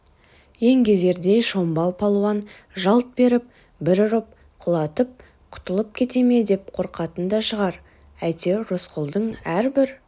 еңгезердей шомбал палуан жалт беріп бір ұрып құлатып құтылып кете ме деп қорқатын да шығар әйтеуір рысқұлдың әрбір